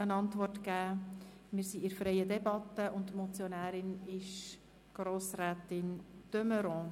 Das Wort hat die Motionärin, Grossrätin de Meuron.